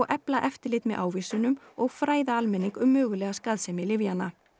efla eftirlit með ávísunum og fræða almenning um mögulega skaðsemi lyfjanna